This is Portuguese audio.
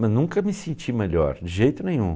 Mas nunca me senti melhor, de jeito nenhum.